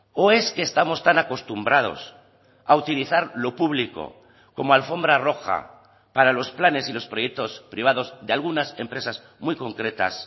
o es que estamos tan acostumbrados a utilizar lo público como alfombra roja para los planes y los proyectos privados de algunas empresas muy concretas